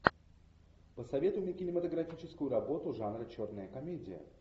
посоветуй мне кинематографическую работу жанра черная комедия